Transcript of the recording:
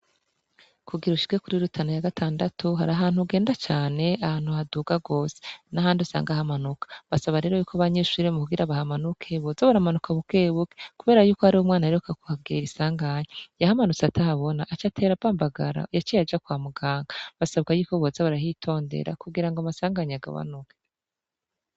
Kugira ushirwe kuri rutana ya gatandatu hari ahantu ugenda cane ahantu haduga gose nahandi usangahamanuka basaba rero yuko banyishuriremu kugira bahamanukebuza baramanuka bukebuke, kubera yuko ari wo umwana yeroka ku hagera isanganyu yahamanutse atahabona aco atera bambagara yaciye aja kwa muganga basabwa yuko boza barahitondera kugira ngo masangke anyagabanuke.